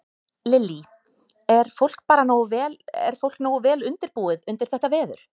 Lillý: Er fólk bara nógu vel, er fólk nógu vel undirbúið undir þetta veður?